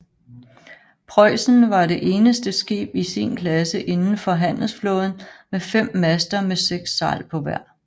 Preußen var det eneste skib i sin klasse indenfor handelsflåden med fem master med seks sejl på hver